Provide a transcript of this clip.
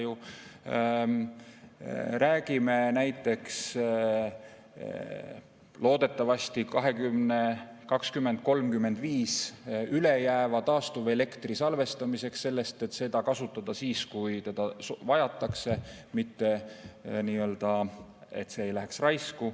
Aastaks 2035 me räägime loodetavasti näiteks ülejääva taastuvelektri salvestamisest selleks, et seda kasutada siis, kui seda vajatakse, mitte et see läheb raisku.